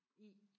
I